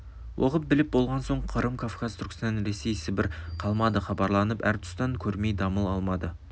оқып біліп болған соң қырым кавказ түркістан ресей сібір қалмады хабарланып әр тұстан көрмей дамыл алмады